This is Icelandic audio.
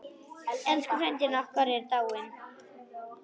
Elsku frændi okkar er dáinn.